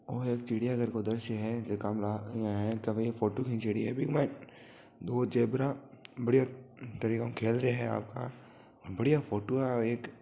ओ एक चिड़िया घर को द्रश्य है जका में ईया है के भाई आ फोटो खिंचोड़ी है बीके मायने दो जेबरा बढ़िया तरीके हु खेल रहिया है आपका और बढ़िया फोटो है एक।